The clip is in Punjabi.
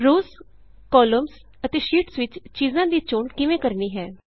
ਰੋਅਜ਼ ਕਾਲਮਸ ਅਤੇ ਸ਼ੀਟਸ ਵਿਚ ਚੀਜ਼ਾਂ ਦੀ ਚੋਣ ਕਿਵੇਂ ਕਰਨੀ ਹੈ